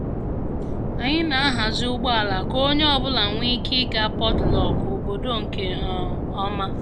Anyị na-ahazi ụgbọ ala ka onye ọ bụla nwee ike ịga potluck obodo nke um ọma